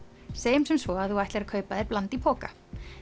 segjum sem svo að þú ætlir að kaupa þér bland í poka